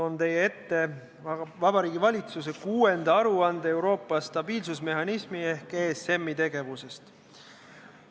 Toon teie ette Vabariigi Valitsuse 6. aruande Euroopa stabiilsusmehhanismi ehk ESM-i tegevusest.